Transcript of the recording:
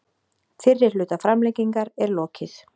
Fyrri hluta framlengingar er lokið